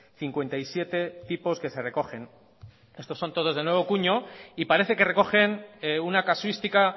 cincuenta y siete tipos que se recogen esto son todos de nuevo cuño y parece que recogen una casuística